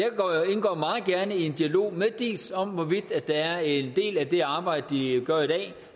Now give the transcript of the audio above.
indgår meget gerne i en dialog med diis om hvorvidt der er en del af det arbejde de gør i dag